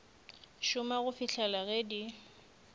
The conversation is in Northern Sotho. šoma go fihlela ge di